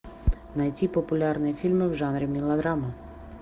найти популярные фильмы в жанре мелодрама